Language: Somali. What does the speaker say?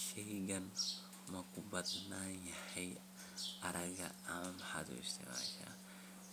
Shayganu maku badan yahy aagaaga oona maxaad uisticmasha?